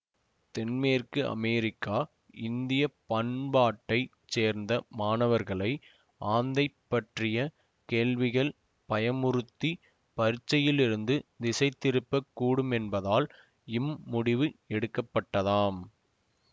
தென்மேற்கு அமெரிக்க இந்திய பண்பாட்டை சேர்ந்த மாணவர்களை ஆந்தை பற்றிய கேள்விகள் பயமுறுத்திப் பரீட்சையிலிருந்து திசைதிருப்பக் கூடுமென்பதால் இம் முடிவு எடுக்கப்பட்டதாம்